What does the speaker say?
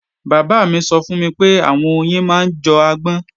Bàbá mí sọ fún mi pé àwọn oyin máa ń jọ agbọ́n